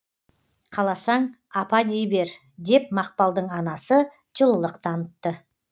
қаласаң апа дей бер деп мақпалдың анасы жылылық танытты